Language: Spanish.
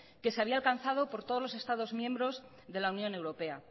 que se había alcanzado por todos los estados miembros de la unión europea